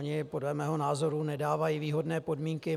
Oni podle mého názoru nedávají výhodné podmínky.